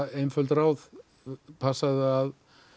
einföld ráð passaðu að